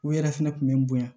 U yɛrɛ fɛnɛ kun bɛ n bonya